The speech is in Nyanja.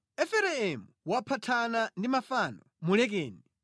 Efereimu waphathana ndi mafano; mulekeni!